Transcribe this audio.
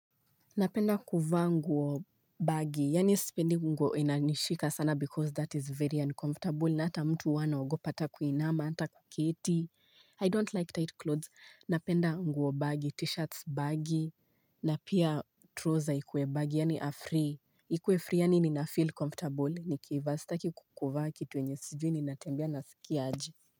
Napenda kuvaa nguo bagi, yani sipendi nguo inanishika sana because that is very uncomfortable na ata mtu wana ugopata kuinama, ata kuketi, I don't like tight clothes, napenda nguo bagi, t-shirts bagi, na pia troza ikue bagi, yani afree, ikue free yani ninafeel comfortable, nikivaa staki kukuvaa kituenye sijuu ninatembia na skierge.